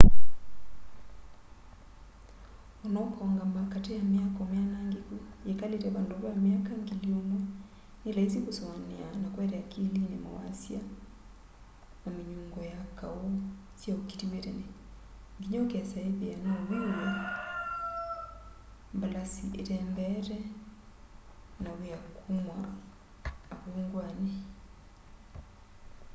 ona ũkaũngama katĩ ya mĩako mianangĩkũ yĩkalĩte vandũ va mĩaka ngili ũmwe nĩ laisi kũsũanĩa na kũete akilini mawasya na mĩnyũngo ya kaũ sya ũkĩtĩw'e tene ngĩnya ũkesa ĩthĩa no wĩw'e mbalasĩ ĩtembeete na wĩa kũma avũngwanĩ